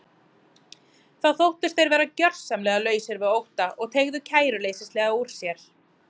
Þá þóttust þeir vera gjörsamlega lausir við ótta og teygðu kæruleysislega úr sér.